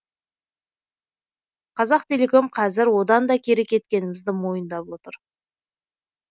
қазақтелеком қазір одан да кері кеткенімізді мойындап отыр